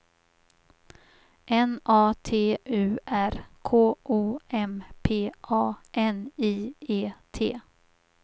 N A T U R K O M P A N I E T